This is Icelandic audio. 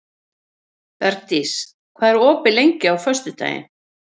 Bergdís, hvað er opið lengi á föstudaginn?